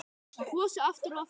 Kosið aftur og aftur?